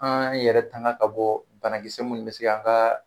An yɛrɛ tanka ka bɔ banakisɛ minnu bɛ se ka an ka